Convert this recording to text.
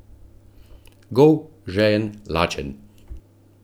Gol, žejen, lačen.